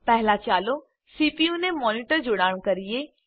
પહેલા ચાલો સીપીયુને મોનિટર જોડાણ કરીએ